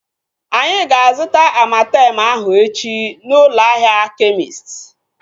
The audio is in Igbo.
Anyị ga-azuta Amartem ahu echi na ụlọ ahịa kemist